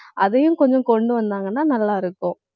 அதையும் கொஞ்சம் கொண்டு வந்தாங்கன்னா நல்லா இருக்கும்